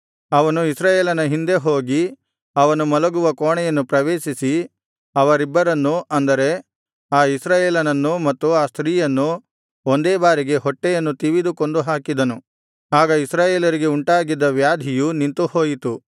ಅವನು ಇಸ್ರಾಯೇಲನ ಹಿಂದೆ ಹೋಗಿ ಅವನು ಮಲಗುವ ಕೋಣೆಯನ್ನು ಪ್ರವೇಶಿಸಿ ಅವರಿಬ್ಬರನ್ನೂ ಅಂದರೆ ಆ ಇಸ್ರಾಯೇಲನನ್ನೂ ಮತ್ತು ಆ ಸ್ತ್ರೀಯನ್ನೂ ಒಂದೇ ಬಾರಿಗೆ ಹೊಟ್ಟೆಯನ್ನು ತಿವಿದು ಕೊಂದುಹಾಕಿದನು ಆಗ ಇಸ್ರಾಯೇಲರಿಗೆ ಉಂಟಾಗಿದ್ದ ವ್ಯಾಧಿಯು ನಿಂತು ಹೋಯಿತು